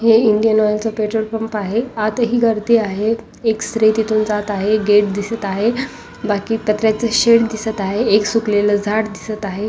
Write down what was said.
हे इंडियन ऑइलच petrol pump आहे आत ही गर्दी आहे एक स्त्री तिथून जात आहे एक गेट दिसत आहे बाकी पत्र्याच शेड दिसत आहे एक सुकलेल झाड दिसत आहे.